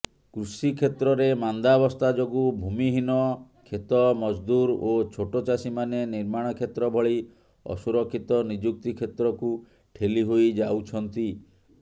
କୃଷିକ୍ଷେତ୍ରରେ ମାନ୍ଦାବସ୍ଥା ଯୋଗୁଁ ଭୂମିହୀନ କ୍ଷେତମଜଦୂର ଓ ଛୋଟଚାଷୀମାନେ ନିର୍ମାଣ କ୍ଷେତ୍ରଭଳି ଅସୁରକ୍ଷିତ ନିଯୁକ୍ତି କ୍ଷେତ୍ରକୁ ଠେଲି ହୋଇଯାଉଛନ୍ତି